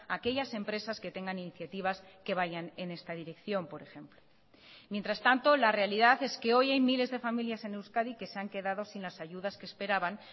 a aquellas empresas que tengan iniciativas que vayan en esta dirección por ejemplo mientras tanto la realidad es que hoy hay miles de familias en euskadi que se han quedado sin las ayudas que esperaban